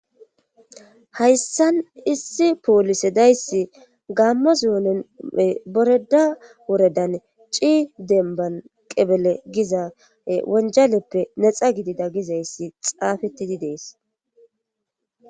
hayssan issi poolise dayssi gammo zoonene boreda woredan ci denban qebele giza wonjaleppe nexa gidida gizayssi xaafettidi dees